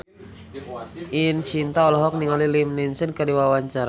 Ine Shintya olohok ningali Liam Neeson keur diwawancara